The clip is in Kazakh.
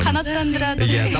қанаттандырады ғой